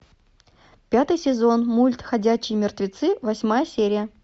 пятый сезон мульт ходячие мертвецы восьмая серия